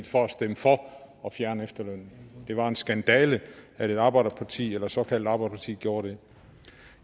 for at stemme for at fjerne efterlønnen det var en skandale at et arbejderparti eller et såkaldt arbejderparti gjorde det